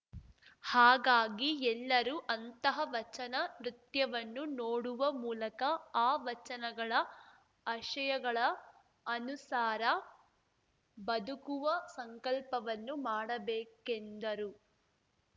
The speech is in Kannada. ಹಾಗಾಗಿ ಎಲ್ಲರೂ ಅಂತಹ ವಚನ ನೃತ್ಯವನ್ನು ನೋಡುವ ಮೂಲಕ ಆ ವಚನಗಳ ಅಶಯಗಳ ಅನುಸಾರ ಬದುಕುವ ಸಂಕಲ್ಪವನ್ನು ಮಾಡಬೇಕೆಂದರು